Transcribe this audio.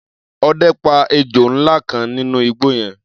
Ọdẹ pa ejò ńlá kan nínú igbó yẹn.